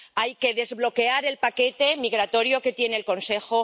hay que desbloquear el paquete migratorio que tiene el Consejo